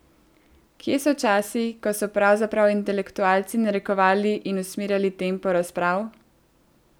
Kje so časi, ko so pravzaprav intelektualci narekovali in usmerjali tempo razprav?